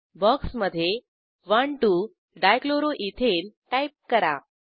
बॉक्समधे 12 dichloroethane type करा